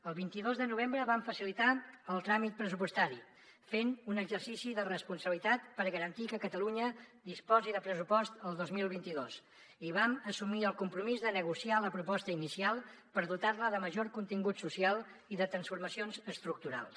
el vint dos de novembre vam facilitar el tràmit pressupostari fent un exercici de responsabilitat per garantir que catalunya disposi de pressupost el dos mil vint dos i vam assumir el compromís de negociar la proposta inicial per dotar la de major contingut social i de transformacions estructurals